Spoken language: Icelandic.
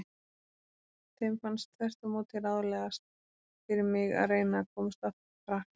Þeim fannst þvert á móti ráðlegast fyrir mig að reyna að komast aftur til Frakklands.